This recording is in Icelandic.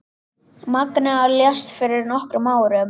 Magnea lést fyrir nokkrum árum.